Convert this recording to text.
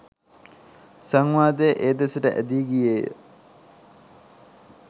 සංවාදය ඒ දෙසට ඇදී ගියේය